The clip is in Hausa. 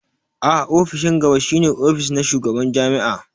A'a ofishin gaba shi ne ofis na shugaban jami'a.